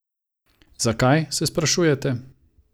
Zakaj, se sprašujete?